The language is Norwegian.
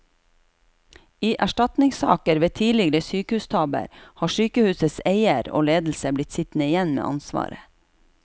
I erstatningssaker ved tidligere sykehustabber har sykehusets eier og ledelse blitt sittende igjen med ansvaret.